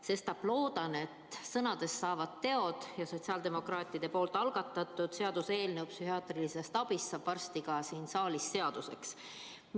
Sestap loodan, et sõnadest saavad teod ja sotsiaaldemokraatide algatatud psühhiaatrilise abi täiendamise seaduse eelnõu saab varsti siin saalis ka seaduseks.